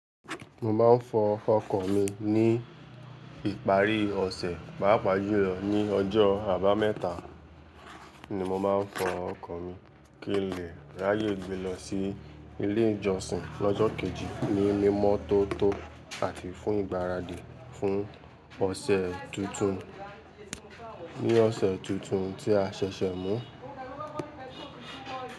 Mo máa ń fọ ọkọ̀ mi ní ìparí ọ̀sẹ̀, pàápàá jùlọ ní ọjọ́ àbámẹ́ta ni mo máa ń fọ ọkọ̀ mi kí n lè ráyè gbe lọ sí ilé ìjọsìn lọ́jọ́ kejì ní mímọ́ tó tó àti fún ìgbáradì fún ọ̀sẹ̀ tuntun. Ní ọ̀sẹ̀ tuntun tí a ṣẹ̀ṣẹ̀ mú.